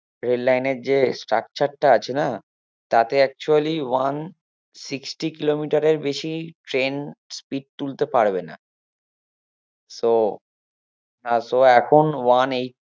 rail line এর যে structure টা আছে না তাতে actually one sixty kilometer এর বেশি train speed তুলতে পারবে না so আর so এখন one eighty